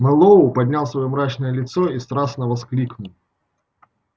мэллоу поднял своё мрачное лицо и страстно воскликнул